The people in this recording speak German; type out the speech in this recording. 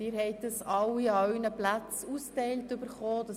Sie haben den Antrag ausgeteilt erhalten.